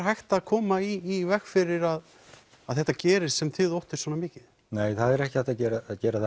hægt að koma í veg fyrir að þetta gerist sem þið óttist svona mikið nei það er ekki hægt að gera gera